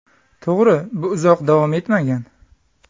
To‘g‘ri, bu uzoq davom etmagan.